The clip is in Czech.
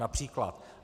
Například.